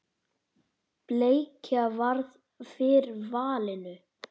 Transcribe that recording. Bleikja varð fyrir valinu.